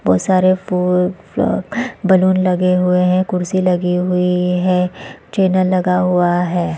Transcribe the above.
बहुत सारे फूल और बलून लगे हुए हैं कुर्सी लगी हुई है इस चैनल लगा हुआ है।